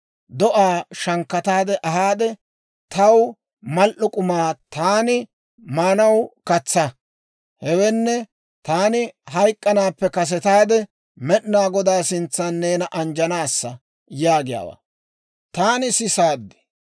‹Do'aa shankkata ahaade, taw mal"o k'umaa taani maanaw katsaa; hewenne taani hayk'k'anaappe kasetaade, Med'inaa Godaa sintsaan neena anjjanaassa› yaagiyaawaa taani sisaad.